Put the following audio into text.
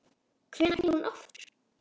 Hvenær snýr hún aftur?